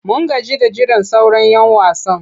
Mun gaji da jiran sauran'yan wasan.